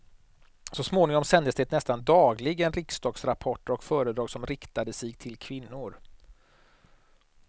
Så småningom sändes det nästan dagligen riksdagsrapporter och föredrag som riktade sig till kvinnor.